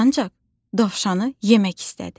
Ancaq dovşanı yemək istədi.